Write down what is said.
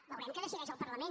veurem què decideix el parlament